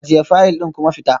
Ajiye fayil ɗin kuma fita